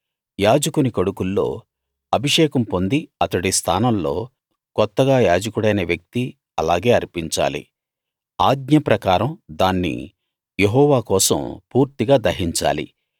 యాజకుని కొడుకుల్లో అభిషేకం పొంది అతడి స్థానంలో కొత్తగా యాజకుడైన వ్యక్తి అలాగే అర్పించాలి ఆజ్ఞ ప్రకారం దాన్ని యెహోవా కోసం పూర్తిగా దహించాలి